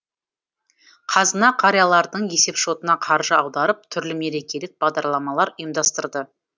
қазына қариялардың есепшотына қаржы аударып түрлі мерекелік бағдарламалар ұйымдастырды